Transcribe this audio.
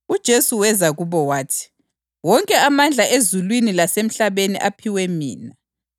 UJesu weza kubo wathi, “Wonke amandla ezulwini lasemhlabeni aphiwe mina.